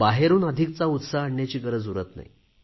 बाहेरून अधिकचा उत्साह आणण्याची गरज उरत नाही